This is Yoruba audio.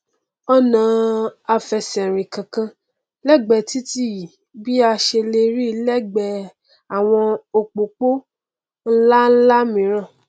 ọnà àfẹsẹrìn kankan lẹgbẹẹ titi yìí bí a ṣe lè ríi lẹgbẹẹ àwọn opopo nlánlá míran